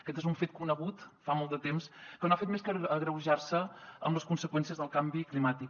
aquest és un fet conegut fa molt de temps que no ha fet més que agreujar se amb les conseqüències del canvi climàtic